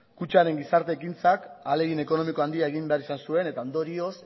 kutxaren gizarte ekintzak ahalegin ekonomiko handia egin behar izan zuen eta ondorioz